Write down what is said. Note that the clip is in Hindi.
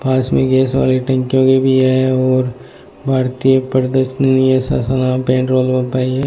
पास में गैस वाली टंकीयां भी है और भारतीय प्रदर्शनी पाई है।